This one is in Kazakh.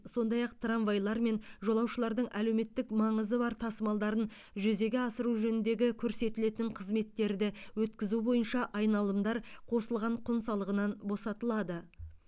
сондай ақ трамвайлармен жолаушылардың әлеуметтік маңызы бар тасымалдарын жүзеге асыру жөніндегі көрсетілетін қызметтерді өткізу бойынша айналымдар қосылған құн салығынан босатылады